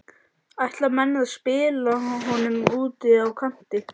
Ætla menn að spila honum úti á kanti?